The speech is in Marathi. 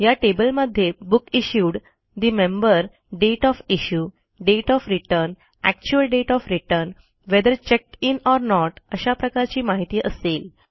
या टेबलमध्ये book issued the member date of issue date of return actual date of return whether checked in or not अशा प्रकारची माहिती असेल